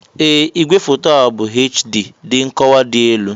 Ee! Ìgwèfoto a bụ HD (dị nkọwa dị elu).